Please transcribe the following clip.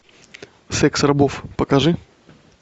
секс рабов покажи